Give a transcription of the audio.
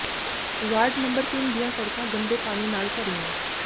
ward number ਤਿੰਨ ਦੀਆਂ ਸੜਕਾਂ ਗੰਦੇ ਪਾਣੀ ਨਾਲ ਭਰੀਆਂ